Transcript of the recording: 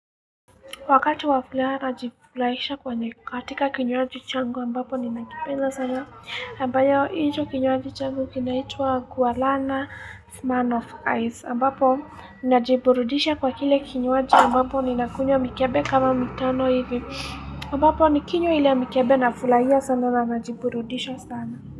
Wakati waflaha, najifurahisha kwenye katika kinyuaji changu ambapo ninakipenda sana. Hhh ambayo, hiyo kinyuaji changu kinaitwa Gualana smirnof ice. Ambapo, najiburudisha kwa kile kinyuaji ambapo ninakunywa mikebe kama mitano hivi. Ambapo, nikinywa ile mikebe na fulahia sana na najiburudisha sana.